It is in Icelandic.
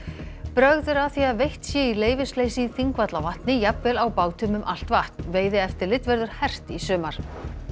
brögð eru að því að veitt sé í leyfisleysi í Þingvallavatni jafnvel á bátum um allt vatn veiðieftirlit verður hert í sumar